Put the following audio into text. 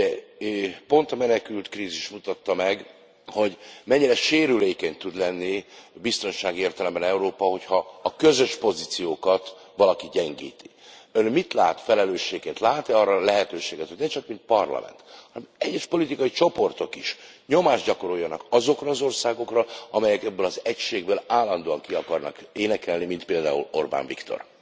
Ugye pont a menekültkrízis mutatta meg, hogy mennyire sérülékeny tud lenni biztonsági értelemben Európa, hogyha a közös pozíciókat valaki gyengíti. Ön mit lát felelősséget, lát e arra lehetőséget, hogy ne csak mint Parlament, hanem egyes politikai csoportok is nyomást gyakoroljanak azokra az országokra, amelyek ebből az egységből állandóan ki akarnak énekelni, mint például Orbán Viktor?